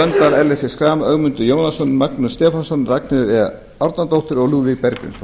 ellert b schram ögmundur jónasson magnús stefánsson ragnheiður e árnadóttir og lúðvík bergvinsson